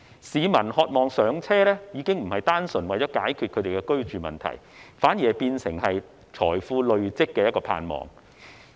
市民渴望"上車"已經並非單純為了解決其居住問題，反而變為累積財富的盼望。